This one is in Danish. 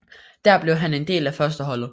Der blev han en del af førsteholdet